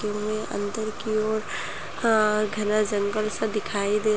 यहाँ अंदर की ओर आ घना जंगल सा दिखाई--